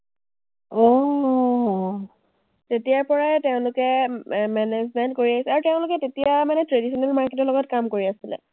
তেতিয়াৰ পৰাই তেওঁলোকে এৰ management কৰি আছে আৰু তেওঁলোকে তেতিয়া মানে traditional market ৰ লগত কাম কৰি আছিলে।